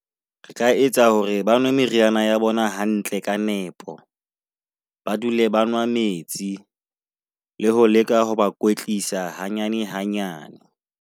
Re ka etsa hore ba nwe meriana ya bona hantle ka nepo, ba dule ba noa metsi. Le ho leka ho ba kwetlisa hanyane hanyane.